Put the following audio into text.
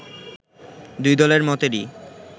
দুই দলের মতেরই